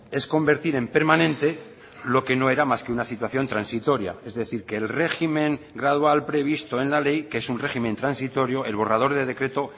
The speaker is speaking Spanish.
es convertir en permanente lo que no era más que una situación transitoria es decir que el régimen gradual previsto en la ley que es un régimen transitorio el borrador de decreto